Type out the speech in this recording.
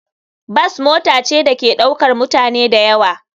Bas mota ce da ke ɗaukar mutane da yawa.